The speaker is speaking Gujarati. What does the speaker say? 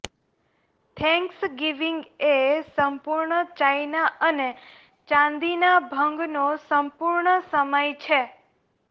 થેંક્સગિવીંગ એ સંપૂર્ણ ચાઇના અને ચાંદીના ભંગનો સંપૂર્ણ સમય છે